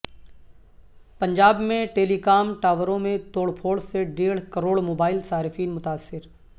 پنجاب میں telecom ٹاوروں میں توڑ پھوڑ سے ڈیڑھ کروڑ موبائل صارفین متاثر